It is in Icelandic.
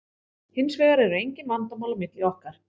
Hins vegar eru engin vandamál á milli okkar.